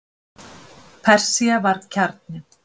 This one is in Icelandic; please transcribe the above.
Persía var kjarninn.